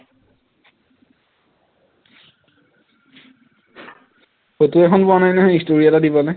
photo এখন পোৱা নহয় story এটা দিবলে